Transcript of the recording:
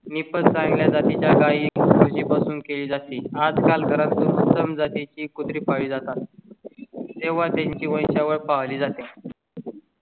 मी पण चांगल्या जाती च्या काही म्हशीपासून केली जाते. आजकाल घरात उत्तम जाती ची कुत्री पाळली जातात तेव्हा त्यांच्या वंश वॅल पाळली जाते.